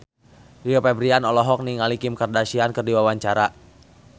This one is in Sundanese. Rio Febrian olohok ningali Kim Kardashian keur diwawancara